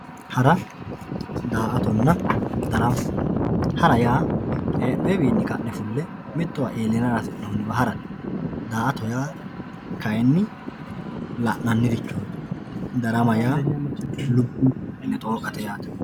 Hara daa`atona darama hara yaa henoyiwini kane mitowa ilate hasinoniwa harate daa`ato yaa kayini la`nanirichoti darama yaa lubbo adine xooqate yaate.